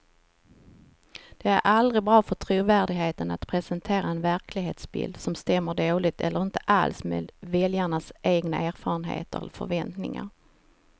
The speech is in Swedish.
Det är aldrig bra för trovärdigheten att presentera en verklighetsbild som stämmer dåligt eller inte alls med väljarnas egna erfarenheter och förväntningar.